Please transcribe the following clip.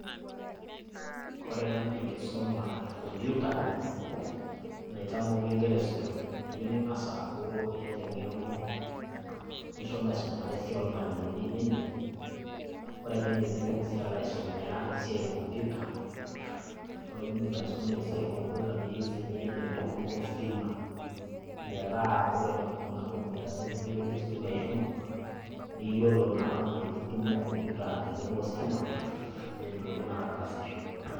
Kore ena naa enkisoma ecomputer, naitamoki inkera esukuul, eyeu ning'as aaku iata eng'eno nishomo aisomare esiai olmwalimuni nindip, kore pee indip nintoki sii alo aisomea esiai ekompyuta, ore pee indip aisomea esiai ekompyuta, neyeu sii niata eng'eno ositima, metaa kore kuna kompyutani teneweji ositima shomo, niyiolo naa aitutumo kompyuta tenebo ositima peetumoki naa ataasisho.